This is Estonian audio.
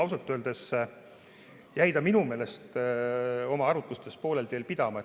Ausalt öeldes jäi ta minu meelest oma arutlustes poolele teele pidama.